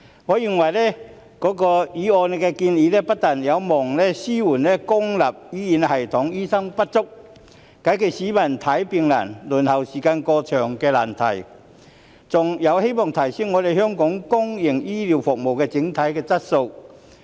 我認為，議案的建議不但有望紓緩公營醫療系統醫生不足，解決市民看病難、輪候時間過長的難題，還有望提升香港公營醫療服務的整體質素。